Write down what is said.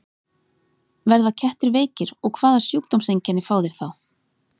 Verða kettir veikir og hvaða sjúkdómseinkenni fá þeir þá?